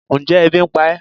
Njẹ ebí n pa e?